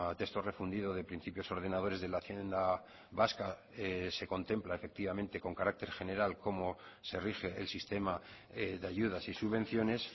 texto refundido de principios ordenadores de la hacienda vasca se contempla efectivamente con carácter general cómo se rige el sistema de ayudas y subvenciones